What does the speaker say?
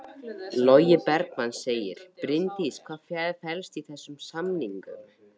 Logi Bergmann: Bryndís hvað felst í þessum samningum?